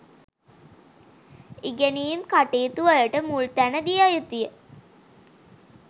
ඉගෙනීම් කටයුතු වලට මුල් තැන දිය යුතුය